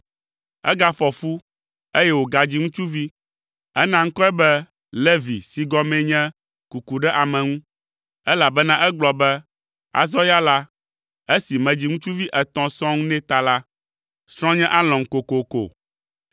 Egafɔ fu, eye wògadzi ŋutsuvi. Ena ŋkɔe be Levi si gɔmee nye “Kuku ɖe ame ŋu,” elabena egblɔ be, “Azɔ ya la, esi medzi ŋutsuvi etɔ̃ sɔŋ nɛ ta la, srɔ̃nye alɔ̃m kokoko.”